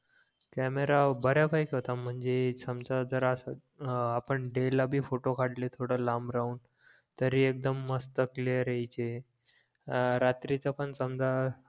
camera बऱ्या पैकी होता म्हणजे समजा जर असं हां आपण डे ला भी फोटो काढले थोडं लांब राहून तरी एक्दम मस्त क्लिअर यायचे अं रात्रीच पण समझा